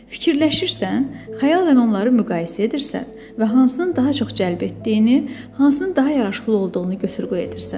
Fikirləşirsən, xəyalən onları müqayisə edirsən və hansının daha çox cəlb etdiyini, hansının daha yaraşıqlı olduğunu götür-qoy edirsən.